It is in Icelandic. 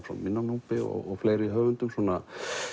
frá minna Núpi og fleiri höfundum svona